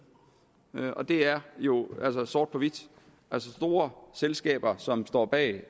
og der er jo altså sort på hvidt store selskaber som står bag